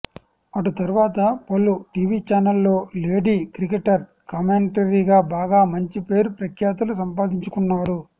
అటుతర్వాత పలు టివి ఛానల్లో lady cricketer కామెంటరీగా బాగా మంచి పేరు ప్రఖ్యాతులు సంపాదించుకున్నారు